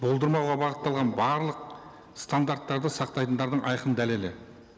болдырмауға бағытталған барлық стандарттарды сақтайтындардың айқын дәлелі